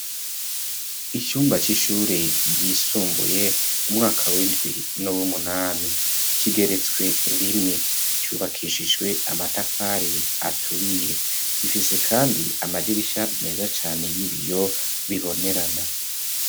Icumba c'ishuri ryisumbuye umwaka w'indwi n'uw'umunani, kigeretswe rimwe, cubakishijwe amatafari aturiye, gifise kandi amadirisha meza cane y'ibiyo bibonerana.